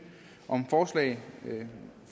om forslaget